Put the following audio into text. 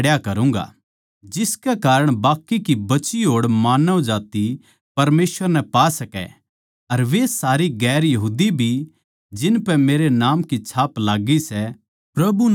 जिसके कारण बाकी की बची होड़ मानवजात्ति परमेसवर नै पा सकै अर वे सारी गैर यहूदी भी जिनपै मेरै नाम की छाप लाग्गी सै प्रभु नै टोहवैं